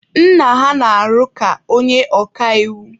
Nna ha na-arụ ka onye oka iwu.